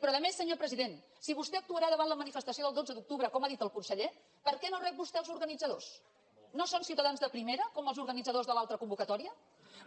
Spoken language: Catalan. però a més senyor president si vostè actuarà davant la manifestació del dotze d’octubre com ha dit el conseller per què no rep vostè els organitzadors no són ciutadans de primera com els organitzadors de l’altra convocatòria